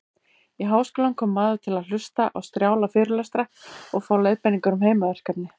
Í háskólann kom maður til að hlusta á strjála fyrirlestra og fá leiðbeiningar um heimaverkefni.